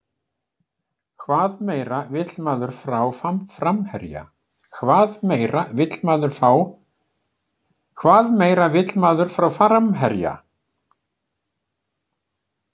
Hvað meira vill maður frá framherja?